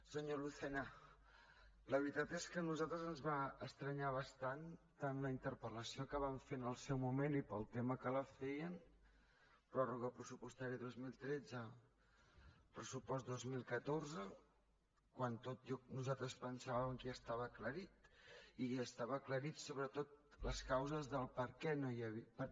senyor lucena la veritat és que a nosaltres ens va estranyar bastant tant la interpel·lació que van fer en el seu moment i per al tema que la feien pròrroga pressupostària dos mil tretze pressupost dos mil catorze quan tots nosaltres pensàvem que ja estava aclarit i estaven aclarides sobretot les causes del perquè no hi havia